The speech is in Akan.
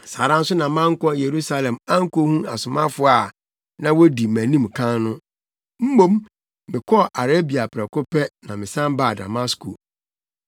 saa ara nso na mankɔ Yerusalem ankohu asomafo a na wodi mʼanim kan no. Mmom, mekɔɔ Arabia prɛko pɛ na mesan baa Damasko.